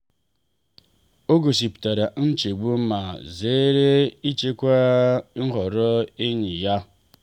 o gosipụtara nchegbu ma zere ịchịkwa nhọrọ enyi ya.